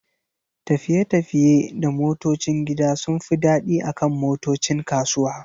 tafiye-tafiye da motocin gida sun fi daɗi akan motocin kasuwa.